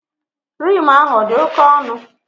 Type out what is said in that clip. Rim ahụ odi oke onụ?